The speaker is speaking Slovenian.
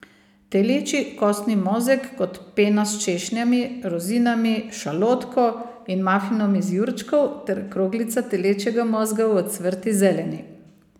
Telečji kostni mozeg kot pena s češnjami, rozinami, šalotko in mafinom iz jurčkov ter kroglica telečjega mozga v ocvrti zeleni.